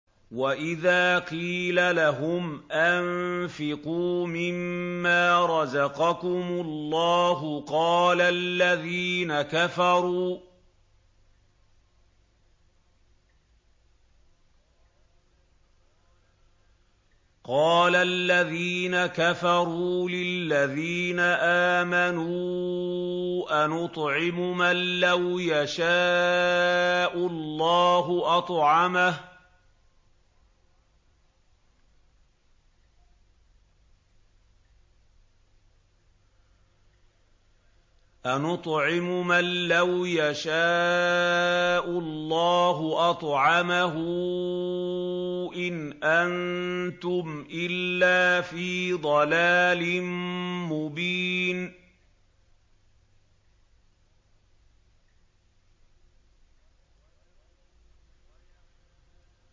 وَإِذَا قِيلَ لَهُمْ أَنفِقُوا مِمَّا رَزَقَكُمُ اللَّهُ قَالَ الَّذِينَ كَفَرُوا لِلَّذِينَ آمَنُوا أَنُطْعِمُ مَن لَّوْ يَشَاءُ اللَّهُ أَطْعَمَهُ إِنْ أَنتُمْ إِلَّا فِي ضَلَالٍ مُّبِينٍ